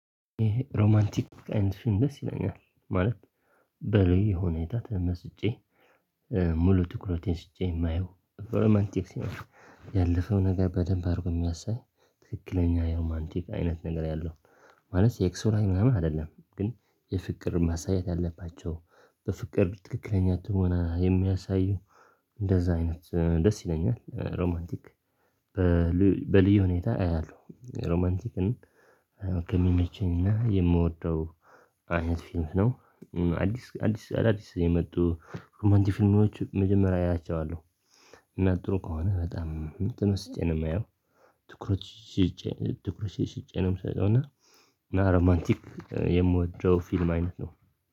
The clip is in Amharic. ሮማንቲክ አይነት ፊልም ደስ ይለኛል። ማለት በልዬ ሁኔታ ተመስጬ ሙሉ ትኩረቴን ስጨኝ የማየው ሮማንቲክ ፊልም ነው። ያለፈው ነገር በደንብ አድርጎ የሚያሳይ ትክክለኛ ሮማንቲክ አይነት ነገር ያለው ማለት ሴክሱ ምናምን አይደለ። ግን የፍቅር ማሳየት ያለባቸው በፍቅር ትክክለኛ ትወና የሚያሳዩ እንደዛ አይነት ደስ ይለኛል። ሮማንቲክ በልዩ ሁኔታ አያለሁ። ሮማንቲክን ከሚመቸኝና የምወደው አይነት ፊልም ነው። አዲስ አዳዲስ የመጡ የፊልሞች መጀመሪያ እያቸዋለሁ። እና ጥሩ ከሆነ በጣም ትመስጬ ነው የማየው። ትኩረቴን ሰጥቼ ነው የምሰጠው። እና ና ሮማንቲክ የምወደው ፊልም አይነት ነው።